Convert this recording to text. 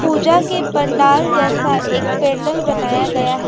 पूजा के पंडाल जैसा एक पेंडल बनाया गया है।